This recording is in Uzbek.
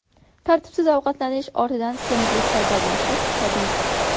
Tartibsiz ovqatlanish ortidan semizlik paydo bo‘lishi tabiiy.